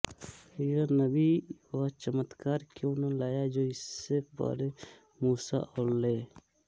यह नबी वह चमत्कार क्यों न लाया जो इससे पहले मूसा अलै